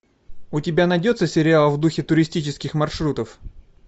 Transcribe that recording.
у тебя найдется сериал в духе туристических маршрутов